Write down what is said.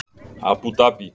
Abú Dabí